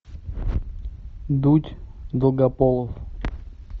дудь долгополов